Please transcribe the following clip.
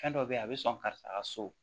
Fɛn dɔ be yen a be sɔn karisa ka so